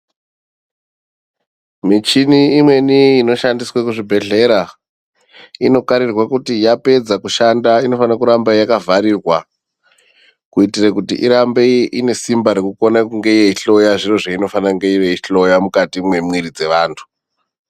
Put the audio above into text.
Michini imweni inoshandiswe kuzvibhedhlera inokarirwe kuti yapedza kushanda inofana kuramba yakavharirwa. Kuitire kuti irambe inesimba rekukona kunge yeihloya zviro zveinofane kunge yeihloya mukati mwemwiiri dzevantu.